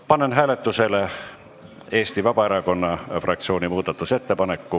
Panen hääletusele Eesti Vabaerakonna fraktsiooni muudatusettepaneku.